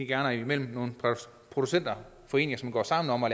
gerne mellem nogle producenter foreninger som går sammen om at